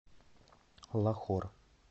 лахор